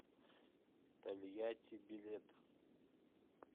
тольятти билет